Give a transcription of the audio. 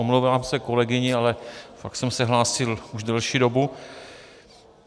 Omlouvám se kolegyni, ale fakt jsem se hlásil už delší dobu.